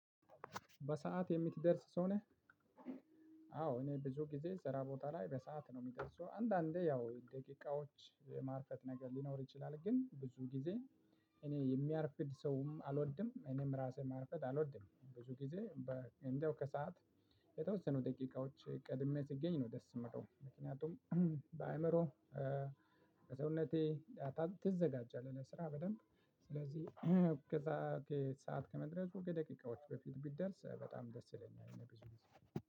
በሰአት የምትደርስ ሰው ነህ? አዎ እኔ ብዙ ጊዜ ስራ ቦታ ላይ በሰአት ነው የምደርሰው። አንዳንዴ ያው ደቂቃዎች የማርፈድ ነገር ሊኖር ይችላል። ግን ብዙ ጊዜ እኔ የሚያርፍድ ሰውም አልወድም። እኔም ራሴ ማርፈድ አልወድም። ብዙ ጊዜ እንደው ከሰአት የተወሰኑ ደቂቃዎች ቀድሜ ሲገኝ ነው ደስ የሚለው። ምክንያቱም በአእምሮ በሰውነቴ ትዘጋጃለህ ለስራ በደንብ። ስለዚህ ከሰአት ሰዓት ከመድረሱ ከደቂቃዎች በፊት ብደርስ በጣም ደስ ይለኛል እኔ ብዙ ግዜ